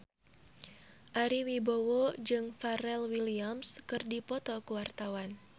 Ari Wibowo jeung Pharrell Williams keur dipoto ku wartawan